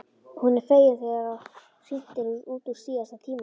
Hún er fegin þegar hringt er út úr síðasta tíma.